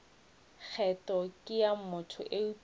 kgetho ke ya motho eupša